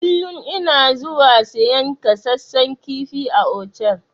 Kullun ina zuwa siyan kasassan kifi a otal.